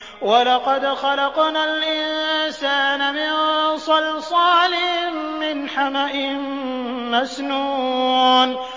وَلَقَدْ خَلَقْنَا الْإِنسَانَ مِن صَلْصَالٍ مِّنْ حَمَإٍ مَّسْنُونٍ